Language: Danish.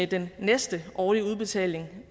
den næste årlige udbetaling